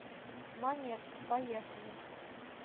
монетка поехали